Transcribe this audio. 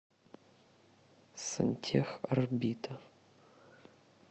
сантехорбита